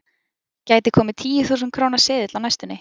Gæti komið tíu þúsund króna seðill á næstunni?